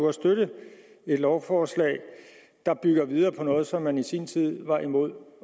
at støtte et lovforslag der bygger videre på noget som man i sin tid var imod